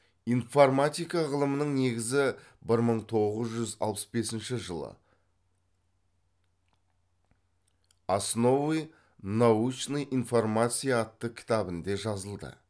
информатика ғылымның негізі бір мың тоғыз жүз алпыс бесінші жылы основы научной информации атты кітабінде жазылды